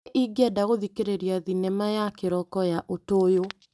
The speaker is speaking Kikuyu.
Nĩ ingĩenda gũthikĩrĩria thinema ya kĩroko ya ũtũyũ.